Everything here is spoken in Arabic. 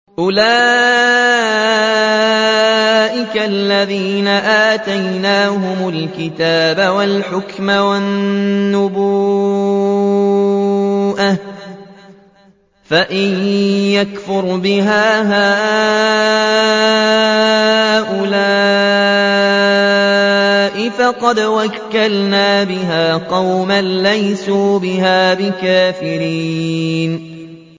أُولَٰئِكَ الَّذِينَ آتَيْنَاهُمُ الْكِتَابَ وَالْحُكْمَ وَالنُّبُوَّةَ ۚ فَإِن يَكْفُرْ بِهَا هَٰؤُلَاءِ فَقَدْ وَكَّلْنَا بِهَا قَوْمًا لَّيْسُوا بِهَا بِكَافِرِينَ